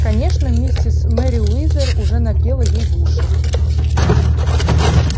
конечно миссис мерриуэзер уже напела ей в уши